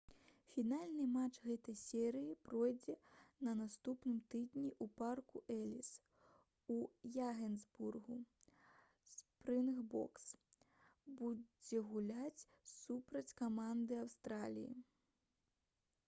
фінальны матч гэтай серыі пройдзе на наступным тыдні ў парку эліс у яганэсбургу — «спрынгбокс» будзе гуляць супраць каманды аўстраліі